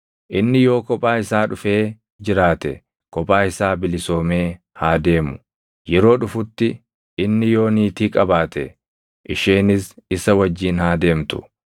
Inni yoo kophaa isaa dhufee jiraate kophaa isaa bilisoomee haa deemu; yeroo dhufutti inni yoo niitii qabaate isheenis isa wajjin haa deemtu.